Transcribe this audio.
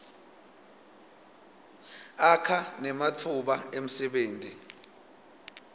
akha nematfuba emsebenti